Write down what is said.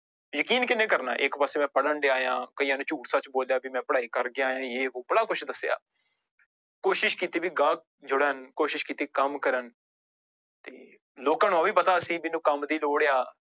ਯਕੀਨ ਕਿਹਨੇ ਕਰਨਾ ਇੱਕ ਪਾਸੇ ਮੈਂ ਪੜ੍ਹਨ ਡਿਆ ਹਾਂ ਕਈਆਂ ਨੇ ਝੂਠ ਸੱਚ ਬੋਲਿਆ ਵੀ ਮੈਂ ਪੜ੍ਹਾਈ ਕਰਕੇ ਆਇਆਂ ਜੇ ਵੋਹ ਬੜਾ ਕੁਛ ਦੱਸਿਆ ਕੋਸ਼ਿਸ਼ ਕੀਤੀ ਵੀ ਗਾਹਕ ਜੁੜਕ ਕੋਸ਼ਿਸ਼ ਕੀਤੀ ਕੰਮ ਕਰਨ ਤੇ ਲੋਕਾਂ ਨੂੰ ਉਹ ਵੀ ਪਤਾ ਸੀ ਜਿਹਨੂੰ ਕੰਮ ਦੀ ਲੋੜ ਆ।